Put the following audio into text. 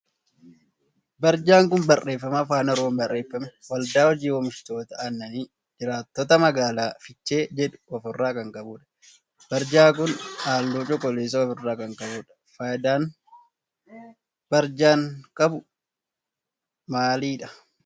Barjaan kun barreeffama afaan oromoon barreeffame waldaa hojii oomishtoota aannanii jiraattoota magaalaa fiichee jedhu of irraa kan qabudha. Barjaa kun halluu cuquliisa of irraa kan qabudha. Faayidaan barjaan qabu maalidha?